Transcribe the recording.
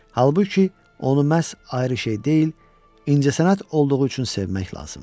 Halbuki, onu məhz ayrı şey deyil, incəsənət olduğu üçün sevmək lazımdır.